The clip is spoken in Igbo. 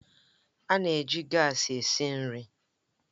A na-eji gaasi esi nri